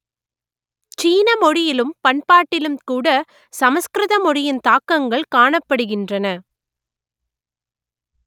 சீன மொழியிலும் பண்பாட்டிலும் கூட சமஸ்கிருத மொழியின் தாக்கங்கள் காணப்படுகின்றன